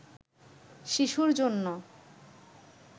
শিশুর জন্য